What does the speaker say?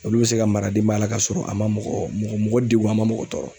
Wulu bɛ se ka mara denbaya la ka sɔrɔ a man mɔgɔ mɔgɔ degun a man mɔgɔ tɔɔrɔ.